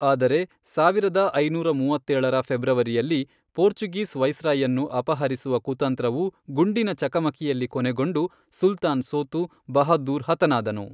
ಆದರೆ, ಸಾವಿರದ ಐನೂರ ಮೂವತ್ತೇಳರ ಫೆಬ್ರವರಿಯಲ್ಲಿ, ಪೋರ್ಚುಗೀಸ್ ವೈಸ್ರಾಯ್ಯನ್ನು ಅಪಹರಿಸುವ ಕುತಂತ್ರವು ಗುಂಡಿನ ಚಕಮಕಿಯಲ್ಲಿ ಕೊನೆಗೊಂಡು, ಸುಲ್ತಾನ್ ಸೋತು, ಬಹಾದ್ದೂರ್ ಹತನಾದನು.